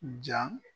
Ja